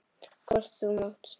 Hvort þú mátt!